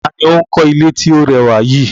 Ta ni ó ń kọ́ ilé tí ó rẹwà yìí?